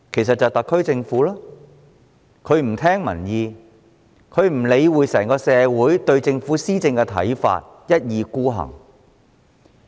答案是特區政府，因為它不聽民意，不理會整體社會對政府施政的看法，一意孤行。